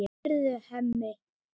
Heyrðu, Hemmi!